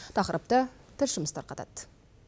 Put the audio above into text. тақырыпты тілшіміз тарқатады